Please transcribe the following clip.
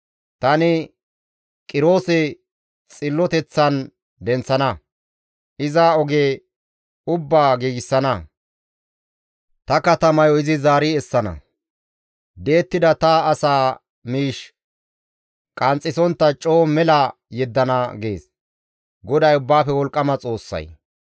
Tani Qiroose xilloteththan denththana; iza oge ubbaa giigsana; ta katamayo izi zaari essana; di7ettida ta asaa miish qanxxisontta coo izi mela yeddana› » gees GODAY Ubbaafe Wolqqama Xoossay.